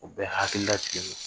U bɛ hakilila tigɛlen don